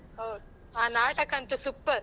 ಹೌದು, ಆ ನಾಟಕ ಅಂತೂ super .